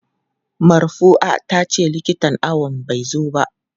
Marfua tace likitan awon ba zai zo ba.